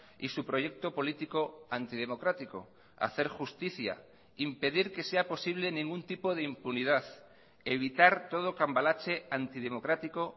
y su proyecto político antidemocrático hacer justicia impedir que sea posible ningún tipo de impunidad evitar todo cambalache antidemocrático